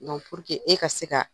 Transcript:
, e ka se ka